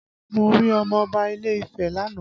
Mo rí ọmọ Ọba ilé Ifẹ́ lánàá